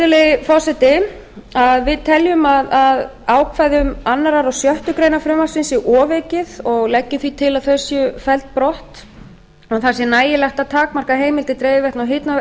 virðulegi forseti við teljum að ákvæðum annað og sjöttu greinar frumvarpsins sé ofaukið og leggjum því til að þau séu felld brott að það sé nægilegt að takmarka heimildir dreifiveitna og